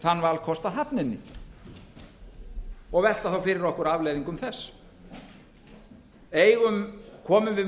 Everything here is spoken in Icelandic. þann valkost að hafna henni og velta þá fyrir okkur afleiðingum þess komum við málinu